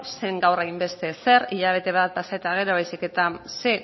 zer da horrenbeste zer hilabete bat pasa eta gero baizik eta ze